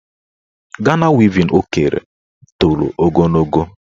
Gana wevin o kere toro ogologo.